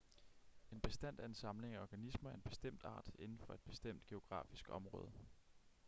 en bestand er en samling af organismer af en bestemt art inden for et bestemt geografisk område